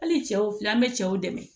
Hali cɛw filɛ an bɛ cɛw dɛmɛ